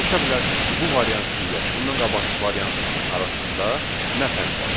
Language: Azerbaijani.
Soruşa bilərsiniz ki, bu variant ilə, bundan qabaqkı variantın arasında nə fərq var?